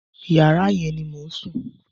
Yàrá yẹn ni mò ń sùn.